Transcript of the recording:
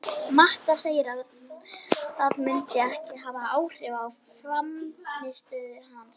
Mata segir að það muni ekki hafa áhrif á frammistöðu hans.